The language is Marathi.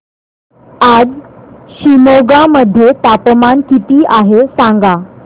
आज शिमोगा मध्ये तापमान किती आहे सांगा